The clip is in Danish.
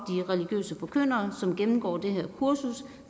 religiøse forkyndere som gennemgår det her kursus